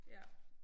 Ja